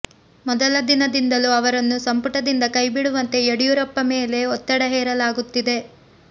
ಮೊದಲ ದಿನದಿಂದಲೂ ಅವರನ್ನು ಸಂಪುಟದಿಂದ ಕೈ ಬಿಡುವಂತೆ ಯಡಿಯೂರಪ್ಪ ಮೇಲೆ ಒತ್ತಡ ಹೇರಲಾಗುತ್ತಿದೆ